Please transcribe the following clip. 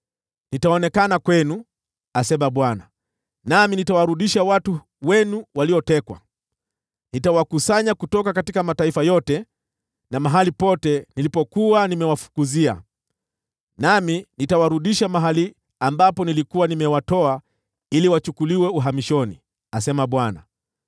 Nitaonekana kwenu,” asema Bwana , “nami nitawarudisha watu wenu waliotekwa. Nitawakusanya kutoka mataifa yote na mahali pote nilipokuwa nimewafukuzia, nami nitawarudisha mahali ambapo nilikuwa nimewatoa walipochukuliwa uhamishoni,” asema Bwana .